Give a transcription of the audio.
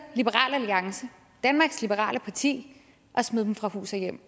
liberal alliance danmarks liberale parti at smide dem fra hus og hjem